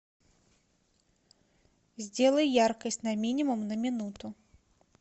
сделай яркость на минимум на минуту